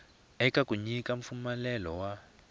eka ku nyika mpfumelelo wa